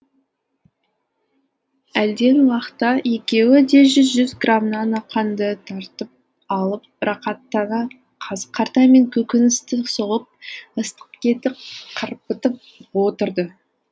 әлден уақта екеуі де жүз жүз грамнан ақаңды тартып алып рақаттана қазы қарта мен көкөністі соғып ыстық етті қырбытып отырды